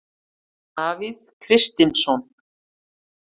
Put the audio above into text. Davíð Kristinsson.